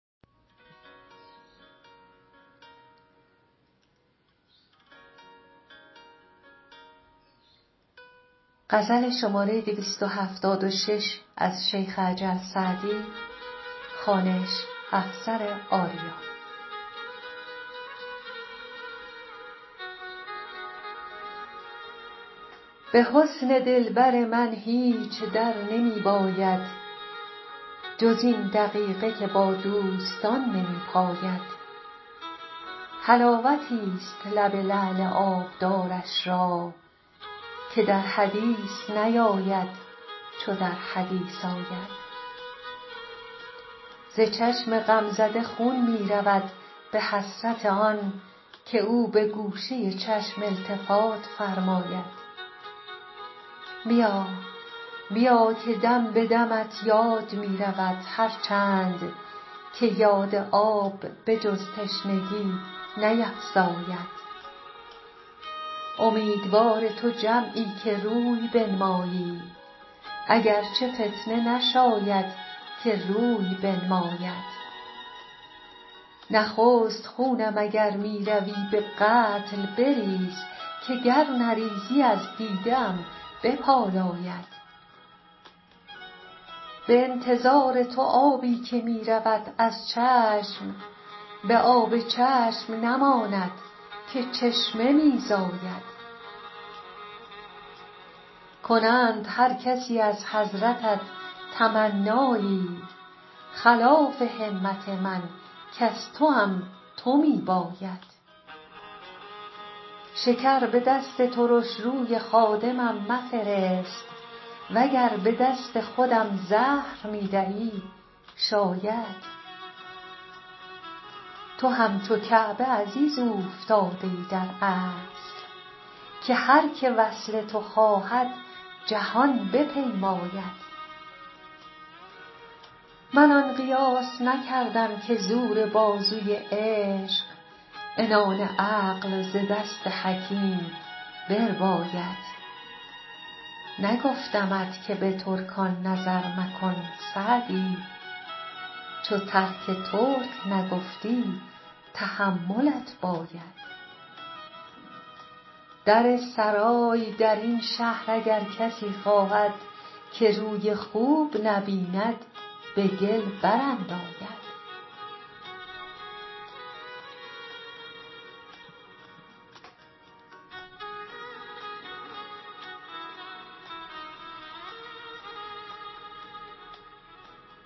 به حسن دلبر من هیچ در نمی باید جز این دقیقه که با دوستان نمی پاید حلاوتیست لب لعل آبدارش را که در حدیث نیاید چو در حدیث آید ز چشم غمزده خون می رود به حسرت آن که او به گوشه چشم التفات فرماید بیا که دم به دمت یاد می رود هر چند که یاد آب به جز تشنگی نیفزاید امیدوار تو جمعی که روی بنمایی اگر چه فتنه نشاید که روی بنماید نخست خونم اگر می روی به قتل بریز که گر نریزی از دیده ام بپالاید به انتظار تو آبی که می رود از چشم به آب چشم نماند که چشمه می زاید کنند هر کسی از حضرتت تمنایی خلاف همت من کز توام تو می باید شکر به دست ترش روی خادمم مفرست و گر به دست خودم زهر می دهی شاید تو همچو کعبه عزیز اوفتاده ای در اصل که هر که وصل تو خواهد جهان بپیماید من آن قیاس نکردم که زور بازوی عشق عنان عقل ز دست حکیم برباید نگفتمت که به ترکان نظر مکن سعدی چو ترک ترک نگفتی تحملت باید در سرای در این شهر اگر کسی خواهد که روی خوب نبیند به گل برانداید